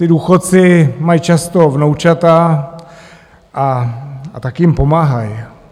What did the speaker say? Ti důchodci mají často vnoučata, a tak jim pomáhají.